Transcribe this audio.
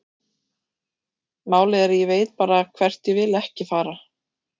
Málið er að ég veit bara hvert ég vil ekki fara.